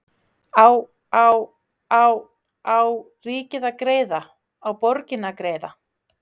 Á á á á ríkið að greiða, á borgin að greiða?